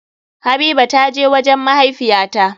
Habiba ta je wajen mahaifiya ta.